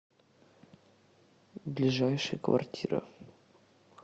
ближайший квартира